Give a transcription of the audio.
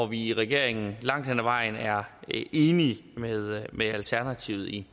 vi i regeringen langt hen ad vejen er enige med med alternativet i